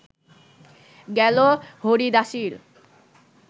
গেল হরিদাসীর